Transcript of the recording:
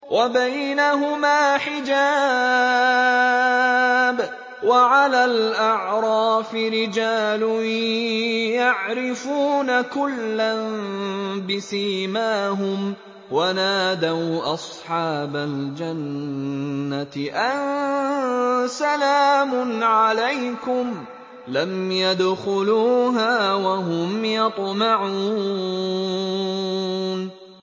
وَبَيْنَهُمَا حِجَابٌ ۚ وَعَلَى الْأَعْرَافِ رِجَالٌ يَعْرِفُونَ كُلًّا بِسِيمَاهُمْ ۚ وَنَادَوْا أَصْحَابَ الْجَنَّةِ أَن سَلَامٌ عَلَيْكُمْ ۚ لَمْ يَدْخُلُوهَا وَهُمْ يَطْمَعُونَ